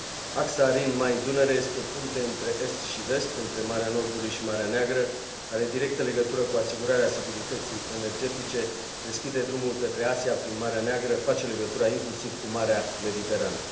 Axa Rin Main Dunăre este o punte între est și vest, între Marea Nordului și Marea Neagră, are directă legătură cu asigurarea securității energetice, deschide drumul către Asia prin Marea Neagră, face legătura inclusiv cu Marea Mediterană.